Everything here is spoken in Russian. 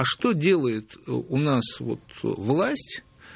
а что делает ээ у нас вот власть